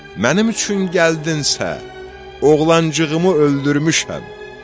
Mənim üçün gəldinsə, oğlancığımı öldürmüşəm.